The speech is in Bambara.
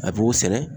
A b'o sɛnɛ